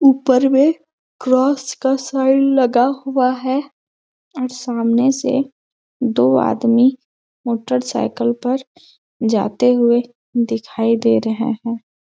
उपर में क्रॉस का साइड लगा हुआ है और सामने से दो आदमी मोटरसाइकल पर जाते हुए दिखाई दे रहे हैं।